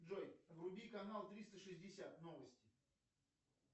джой вруби канал триста шестьдесят новости